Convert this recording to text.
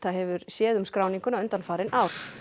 hefur séð um skráninguna undanfarin ár